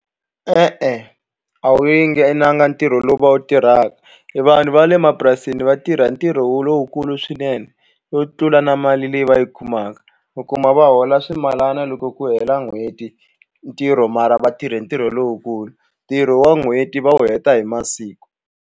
E-e a wu yi nge nanga ntirho lowu va wu tirhaka vanhu va le mapurasini va tirha ntirho wo lowukulu swinene wo tlula na mali leyi va yi kumaka u kuma va hola swimalana loko ku hela n'hweti ntirho mara va tirhe ntirho lowukulu ntirho wa n'hweti va wu heta hi masiku.